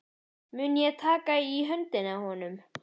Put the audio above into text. Mun ég taka í höndina á honum?